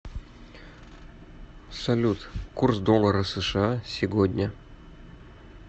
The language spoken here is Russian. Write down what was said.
салют курс доллара сша сегодня